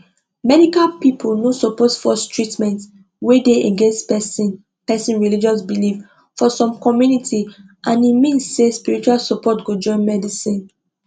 medical people no suppose force treatment wey dey against person person religious belief for some communities and e mean say spiritual support go join medicine